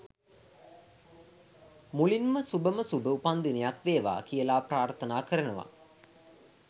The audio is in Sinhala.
මුලින්ම සුභම සුභ උපන්දිනයක් වේවා කියලා ප්‍රාර්ථනා කරනවා.